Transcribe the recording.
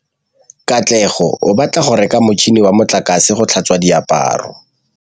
Katlego o batla go reka motšhine wa motlakase wa go tlhatswa diaparo.